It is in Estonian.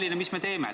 Mis me ikka teeme?